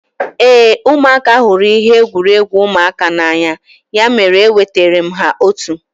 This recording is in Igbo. Éè, ụmụaka hụrụ ihe egwuregwu ụmụaka n'anya ya mere e wetara m ha otu